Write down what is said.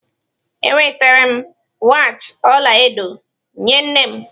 Enwetara m wachi ọla edo nye nne m.